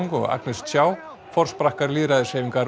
og Agnes Chow forsprakkar